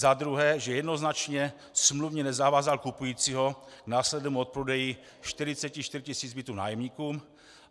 Za druhé, že jednoznačně smluvně nezavázal kupujícího k následnému odprodeji 44 tisíc bytů nájemníkům.